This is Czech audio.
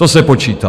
To se počítá.